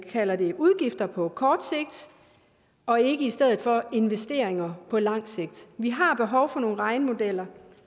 vi kalder det udgifter på kort sigt og ikke i stedet for investeringer på langt sigt vi har behov for nogle regnemodeller